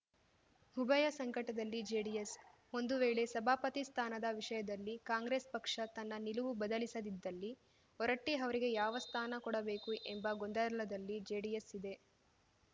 ಉಭಯ ಸಂಕಟದಲ್ಲಿ ಜೆಡಿಎಸ್‌ ಒಂದು ವೇಳೆ ಸಭಾಪತಿ ಸ್ಥಾನದ ವಿಷಯದಲ್ಲಿ ಕಾಂಗ್ರೆಸ್‌ ಪಕ್ಷ ತನ್ನ ನಿಲುವು ಬದಲಿಸದಿದ್ದಲ್ಲಿ ಹೊರಟ್ಟಿಅವರಿಗೆ ಯಾವ ಸ್ಥಾನ ಕೊಡಬೇಕು ಎಂಬ ಗೊಂದಲದಲ್ಲಿ ಜೆಡಿಎಸ್‌ ಇದೆ